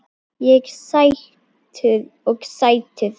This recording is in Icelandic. Og sætur.